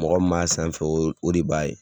Mɔgɔ min b'a sanfɛ o de b'a ye